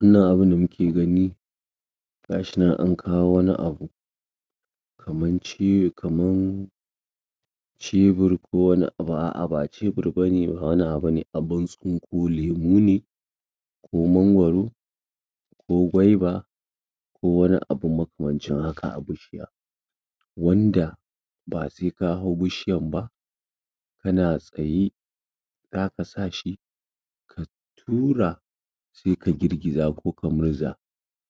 Wannan abun da muke gani, gashi nan an kawo wani abu, kaman ciwo, kaman cebur ko wani abu, a'a ba cebur bane, ba wani abu bane, abun tsinko lemu ne, ko mangwaro, ko gwaiba, ko wani abu makamancin haka a bishiya. Wanda ba si ka hau bushiyan ba, kana tsaye, zaka sa shi ka tura, sai ka girgiza ko ka murza,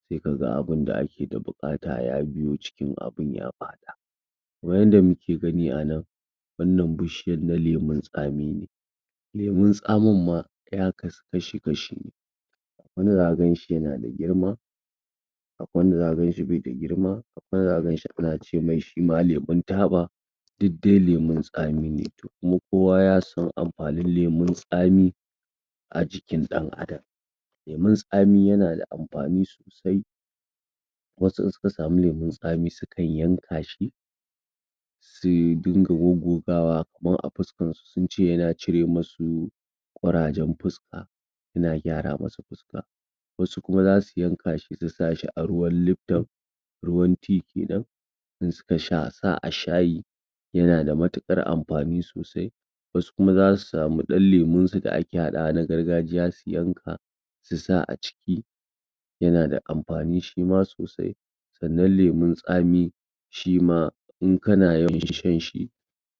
sai ka ga abunda ake da buƙata, ya biyo jikin abun ya faɗa. Kaman yanda muke gani a nan, wannan bushiyar na lemun tsami ne, lemun tsamin ma, ya kasu kash-kashi ne, wani zaka ganshi yana da girma, akwai wanda zaka ganshi bai da girma, akwai wanda zaka ganshi muna ce mai shima lemun taba. Dud dai lemun tsami ne, to kuma kowa ya san amfanin lemun tsami, a jikin ɗan adam. Lemun tsami yana da amfani sosai, wasu in suka sami lemun tsami, su kan yanka shi, sui dinga goggogawa kaman a fuskan su, sunce yana cire masu ƙurajen fuska, yina gyara musu fuska. Wasu kuma zasu yanka shi, su sa shi a ruwan lifton, ruwan tea kenan, in suka sa a shayi, yana da matuƙar amfani sosai. Wasu kuma zasu samu ɗan lemun su da ake haɗawa na gargajiya, su yanka, su sa a ciki, yana da amfani shi ma sosai. Sannan, lemun tsami shima in kana yawan shan shi,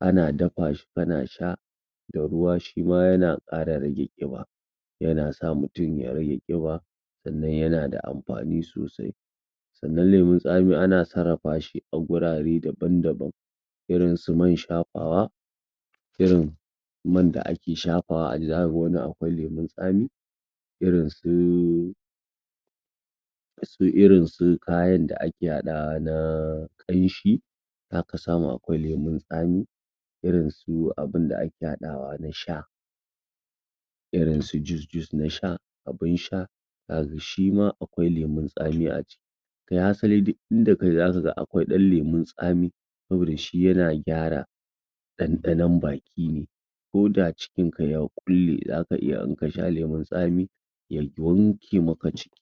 ana dafa shi kana sha da ruwa, shi ma yana ƙara rage ƙiba, yana sa mutum ya rage ƙiba, sannan yana da amfani sosai. Sannan lemun tsami ana sarrafa shi ta wurare daban-daban, irin su man shafawa, irin man da ake shafawa zaka ga wani akwai lemun tsami, irin su su irin su kayan da ake haɗawa na ƙanshi, zaka samu akwai lemun tsami, irin su abunda ake haɗawa na sha, irin su jiuce-juice na sha, abun sha, zaka ga shi ma akwai lemun tsami a ciki. Kai, hasali duk inda kaje zaka ga akwai ɗan lemun tsami, saboda shi yana gyara ɗanɗanon baki ne, ko da cikin ka ya ƙulle, zaka iya in ka sha lemun tsami ya wanke maka ciki.